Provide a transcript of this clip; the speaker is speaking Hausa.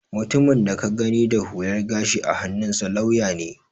Mutumin da ka gani da hular gashi a hannunsa lauya ne